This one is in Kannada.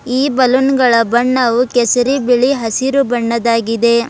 ಈ ಬಲೂನ್ ಗಳ ಬಣ್ಣವು ಕೇಸರಿ ಬಿಳಿ ಹಸಿರು ಬಣ್ಣದಾಗಿದೆ.